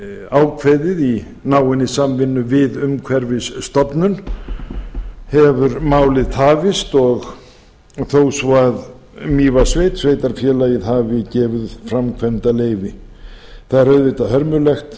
ákveðið í náinni samvinnu við umhverfisstofnun hefur málið tafist þó svo að mývatnssveit sveitarfélagið hafi gefið út framkvæmdarleyfi það er auðvitað hörmulegt